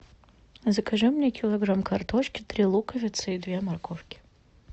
закажи мне килограмм картошки три луковицы и две морковки